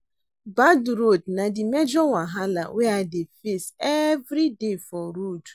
Bad road na di major wahala wey I dey face everyday for road.